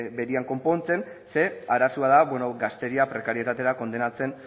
berean konpontzen ze arazoa da gazteria prekarietatera kondenatzen